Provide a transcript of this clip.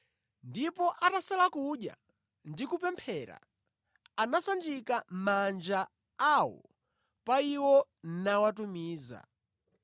Ndipo atasala kudya ndi kupemphera anasanjika manja awo pa iwo nawatumiza.